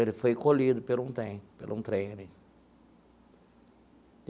Ele foi colhido pelo um trem pelo um trem ali.